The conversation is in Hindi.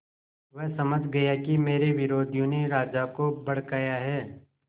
वह समझ गया कि मेरे विरोधियों ने राजा को भड़काया है